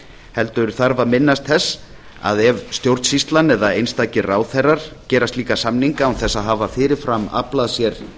heldur þarf að minnast þess að ef stjórnsýslan eða einstakir ráðherrar gera álita samninga án þess að hafa fyrirfram aflað sér